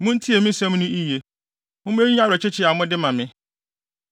Muntie me nsɛm no yiye. Momma eyi nyɛ awerɛkyekye a mode ma me.